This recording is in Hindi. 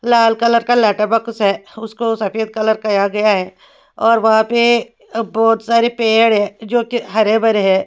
लाल कलर का लेटर बॉक्स है उसको सफेद कलर कहा गया हैऔर वहाँ पे अब बहुत सारे पेड़ है जोकि हरे भरे है।